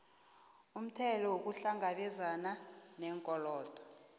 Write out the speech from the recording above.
umthelo ukuhlangabezana neenkolodo